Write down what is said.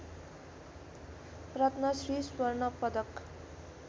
रत्नश्री स्वर्ण पदक